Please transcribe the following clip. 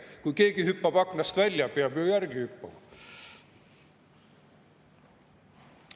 Kui keegi hüppab aknast välja, peab ju järele hüppama.